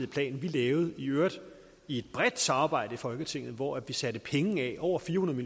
plan vi lavede i øvrigt i et bredt samarbejde i folketinget hvor vi satte penge af over fire hundrede